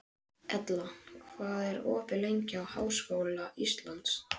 Ella, hvað er opið lengi í Háskóla Íslands?